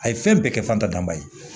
A ye fɛn bɛɛ kɛ fantan ye